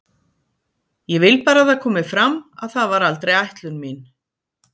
Ég vil bara að það komi fram að það var aldrei ætlun mín.